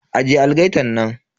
Ajiye algaitan nan.